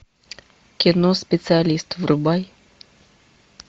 кино специалист врубай